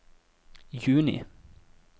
juni